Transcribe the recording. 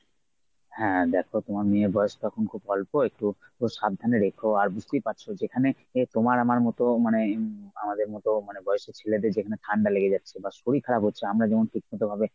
হ্যাঁ দেখ তোমার মেয়ের বয়স তো এখন অল্প একটু সাবধানে রেখ আর বুঝতেই পারছো যেখানে তোমার আমার মত মানে আমদের মত বয়সের ছেলেদের যেখানে ঠান্ডা লেগে যাচ্ছে বা শরীর খারাপ হচ্ছে আমরা যেমন ঠিকমত ভাবে